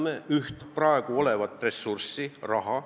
Me kulutame praegu üht ressurssi, raha.